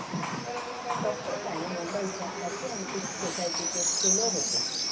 डॉ.काणे मुंबईच्या आशियाटिक सोसायटीचे फेलो होते.